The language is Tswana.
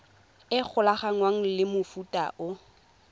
e golaganngwang le mofuta o